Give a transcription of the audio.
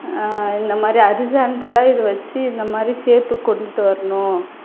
அஹ் இந்த மாதிரி horizontal ஆ இதை வச்சு இந்த மாதிரி shape உக்கு கொண்டுட்டு வரணும்.